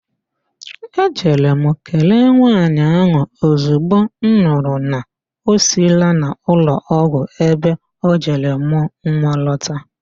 Ejere m kelee nwaanyị ahụ ozigbo m nụrụ na o siila n'ụlọọgwụ ebe o jere mụọ nwa lọta